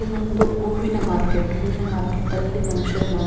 ಇದು ಒಂದು ಹೂವಿನ ಮಾರ್ಕೆಟ್ ಹೂವಿನ ಮಾರ್ಕೆಟ್ ಅಲ್ಲಿ ಮನುಷ್ಯ --